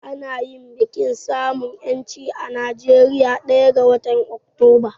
Ana yin bikin samun 'yancin kai a Najeriya ɗaya ga watan Oktoba.